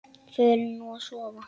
Förum nú að sofa.